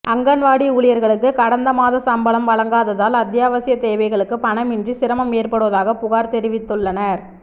அங்கன்வாடி ஊழியா்களுக்கு கடந்த மாத சம்பளம் வழங்காததால் அத்தியாவசியத் தேவைகளுக்கு பணம் இன்றி சிரமம் ஏற்படுவதாகப் புகாா் தெரிவித்துள்ளனா்